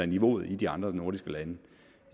niveauet i de andre nordiske lande